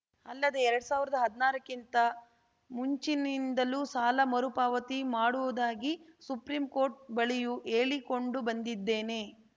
ಅಲ್ಲದೆ ಎರಡ್ ಸಾವಿರ್ದಾ ಹದ್ನಾರಕ್ಕಿಂತ ಮುಂಚಿನಿಂದಲೂ ಸಾಲ ಮರುಪಾವತಿ ಮಾಡುವುದಾಗಿ ಸುಪ್ರೀಂ ಕೋರ್ಟ್‌ ಬಳಿಯೂ ಹೇಳಿಕೊಂಡು ಬಂದಿದ್ದೇನೆ